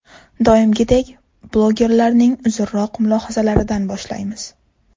Doimgiday, blogerlarning uzunroq mulohazalaridan boshlaymiz.